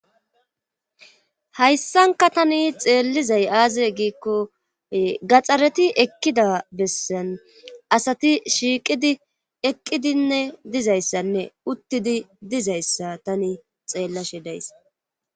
hayssanka tani xeellizay aaze giikko gaxxareti ekkida bessan asati shiiqidi eqqidinne dizayssanne uttidi dizayssa tani xeellashe dayss